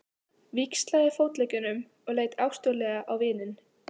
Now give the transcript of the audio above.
Víxlaði fótleggjunum og leit ástúðlega á vininn.